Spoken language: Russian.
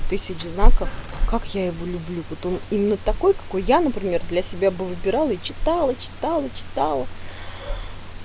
тысяч знаков как я его люблю потом именно такой какой я например для себя бы выбирала и читала читала читала